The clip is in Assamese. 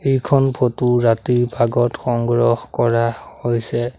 এইখন ফটো ৰাতিৰ ভাগত সংগ্ৰহ কৰা হৈছে।